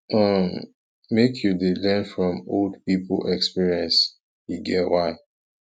um make you dey learn from old pipo experience e get why